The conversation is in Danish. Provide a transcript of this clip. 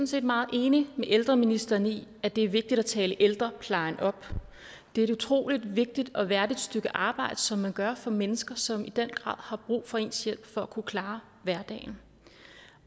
set meget enig med ældreministeren i at det er vigtigt at tale ældreplejen op det er et utrolig vigtigt og værdigt stykke arbejde som man gør for mennesker som i den grad har brug for ens hjælp for at kunne klare hverdagen